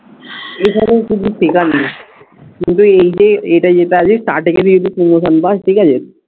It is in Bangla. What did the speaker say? এ কাজে কিছু শেখার নেই এটা যেটা আছে